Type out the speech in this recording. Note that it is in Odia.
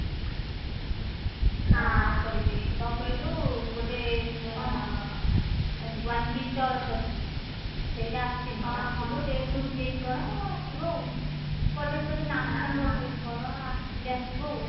କଣ କହିଲୁ ଗୋଟେ one piece order ଟା କରିଛି ସେଇଟା ଆସିନି ଆସିବ date ଘୁଞ୍ଚି ଯାଇଛି କଣ ଆସିବ ଆଉ product ବୋଧେ ନାହିଁ ତାଙ୍କ ସେଠି କଣ ଆସିନି ଆସିବ ଆଉ